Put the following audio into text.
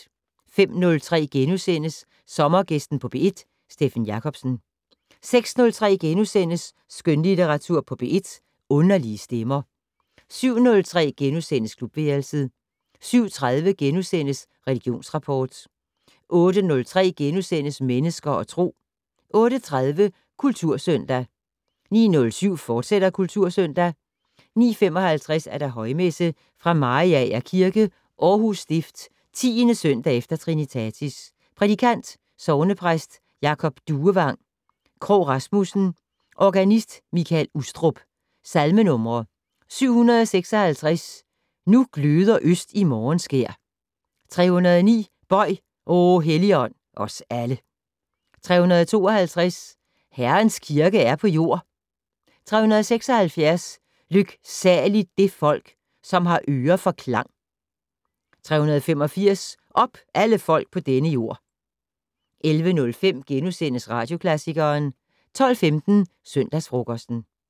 05:03: Sommergæsten på P1: Steffen Jacobsen * 06:03: Skønlitteratur på P1: Underlige stemmer * 07:03: Klubværelset * 07:30: Religionsrapport * 08:03: Mennesker og Tro * 08:30: Kultursøndag 09:07: Kultursøndag, fortsat 09:55: Højmesse - Fra Mariager Kirke, Aarhus Stift. 10. søndag efter trinitatis. Prædikant: Sognepræst Jacob Duevang Krogh Rasmussen. Organist: Mikael Ustrup. Salmenumre: 756 "Nu gløder øst i morgenskær". 309 "Bøj, o Helligånd, os alle". 352 "Herrens kirke er på jord". 376 "Lyksaligt det folk, som har øre for klang". 385 "Op, alle folk på denne jord". 11:05: Radioklassikeren * 12:15: Søndagsfrokosten